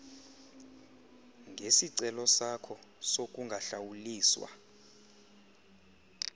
ngesicelo sakho sokungahlawuliswa